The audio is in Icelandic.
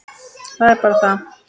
Það er bara það!